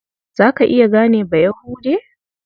Za ka iya gane Bayahude?